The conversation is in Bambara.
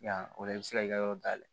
Yan o la i bɛ se k'i ka yɔrɔ dayɛlɛ